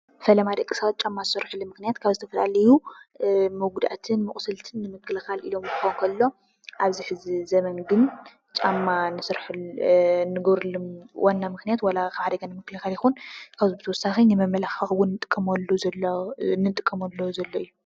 ፈለማ ደቂ ሰባት ጫማ ዝሰርሕሉ ምኽንያት ካብ ዝተፈላለዩ መጉዳእትን መቑሰልትንንምክልኻል ኢሎም ክኾን ከሎ ኣብዚሕዚ ዘበን ግን ጫማ ንገብረሎም ዋና ምኽንያት ካብ ሓደጋ ንምክልኻል ይኹን ካብዚ ብተወሳኺ ንመመላኽዒ እንጥቀመሉ ዘሎ እዩ።